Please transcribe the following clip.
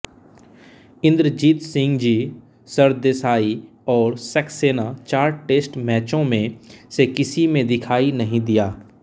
इंद्रजीतसिंहजी सरदेसाई और सक्सेना चार टेस्ट मैचों में से किसी में दिखाई नहीं दिया